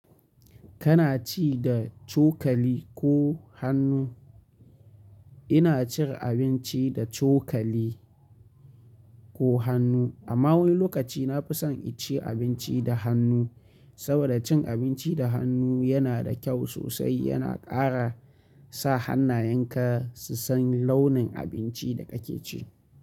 Kana ci da cokali ko hannu? Ina cin abinci da cokali ko hannu, amma wani lokaci na fi son inci abinci da hannu saboda, cin abinci da hannu yana da kyau sosai. Yana ƙara sa hannayenka su san launin abincin da kake ci.